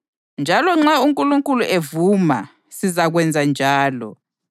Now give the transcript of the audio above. Njalo nxa uNkulunkulu evuma sizakwenza njalo.